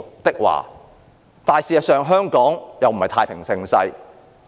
不過，香港事實上並非處於太平盛世，